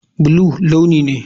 Blue launi ne.